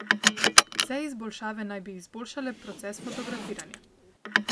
Vse izboljšave naj bi izboljšale proces fotografiranja.